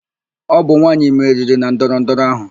Ọ bụ nwaanyị meriri na ndọrọ ndọrọ áhụ.